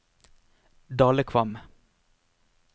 Dalekvam